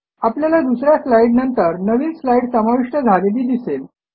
आपल्याला दुस या स्लाईड नंतर नवीन स्लाईड समाविष्ट झालेली दिसेल